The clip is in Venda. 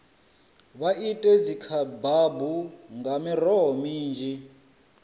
vha ite dzikhebabu nga miroho minzhi